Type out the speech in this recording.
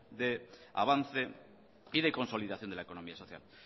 de avance y de consolidación de la economía social